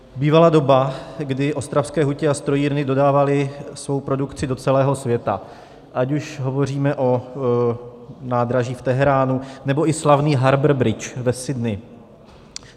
Bývala doba, kdy ostravské hutě a strojírny dodávaly svou produkci do celého světa, ať už hovoříme o nádraží v Teheránu, nebo i slavný Harbour Bridge v Sydney.